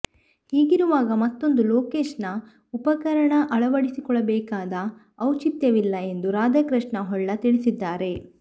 ಹೀಗಿರುವಾಗ ಮತ್ತೊಂದು ಲೊಕೇಶನ್ ಉಪಕರಣ ಅಳವಡಿಸಿಕೊಳ್ಳಬೇಕಾದ ಔಚಿತ್ಯವಿಲ್ಲ ಎಂದು ರಾಧಾಕೃಷ್ಣ ಹೊಳ್ಳ ತಿಳಿಸಿದ್ದಾರೆ